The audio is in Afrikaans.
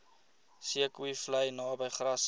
zeekoevlei naby grassy